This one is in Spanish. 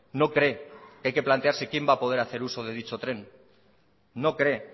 no cree que hay que plantearse quién va a poder hacer uso de dicho tren no cree